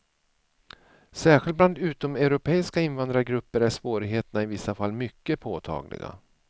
Särskilt bland utomeuropeiska invandrargrupper är svårigheterna i vissa fall mycket påtagliga.